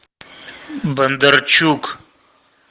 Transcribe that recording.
бондарчук